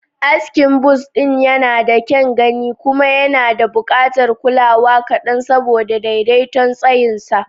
Askin buzz ɗin yana da kyan gani kuma yana buƙatar kulawa kaɗan saboda daidaiton tsayinsa.